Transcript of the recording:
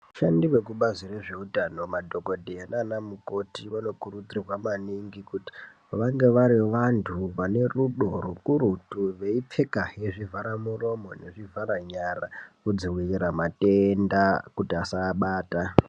Vashandi veKubazi rezveutano , madhokodheya naana mukoti vanokurudzirwa maningi kuti vange vari vantu vanerudo rukurutu, veipfekazve zvivhara muromo nezvivhare nyara kudzivirira matenda kuti asaabata.